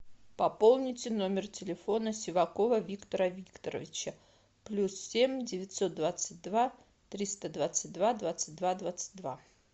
пополните номер телефона сивакова виктора викторовича плюс семь девятьсот двадцать два триста двадцать два двадцать два двадцать два